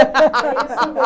É isso